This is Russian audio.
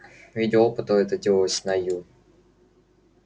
в виде опыта это делалось на ю